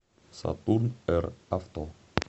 сатурн р авто